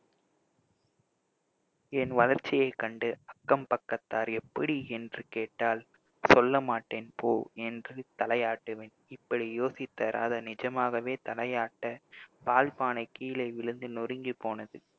என் வளர்ச்சியைக் கண்டு அக்கம் பக்கத்தார் எப்படி என்று கேட்டால் சொல்ல மாட்டேன் போ என்று தலையாட்டுவேன் இப்படி யோசித்த ராதா நிஜமாகவே தலையாட்ட பால்பானை கீழே விழுந்து நொறுங்கிப் போனது